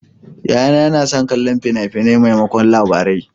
Yayana yana son kallon fina-finai maimakon Labarai.